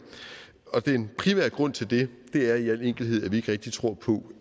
og den primære grund til det er i al enkelhed at vi ikke rigtig tror på